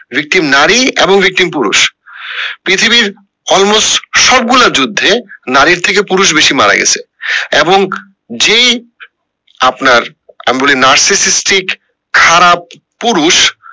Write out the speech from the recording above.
victim নারী এবং victim পুরুষ পৃথিবীর almost সব গুলো যুদ্ধে নারীর থেকে পুরুষ বেশি মারা গেছে এবং যেই আপনার খারাপ পুরুষ